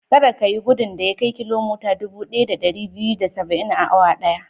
Kada ka yi gudun da ya kai kilomita dubu ɗaya da ɗari biyu da da saba'in a awa ɗaya.